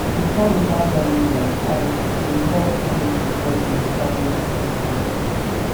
dem kom witout telling us and dey hep finish di puzzle we start yesterday yesterday